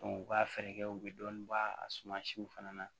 u ka fɛɛrɛ kɛ u bɛ dɔɔnin bɔ a suma siw fana na